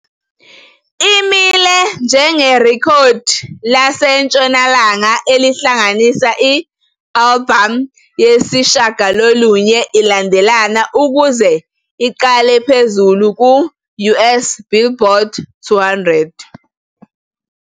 Imile njengerekhodi laseNtshonalanga elihlanganisa i-albhamu yesishiyagalolunye ilandelana ukuze iqale phezulu ku-US Billboard 200.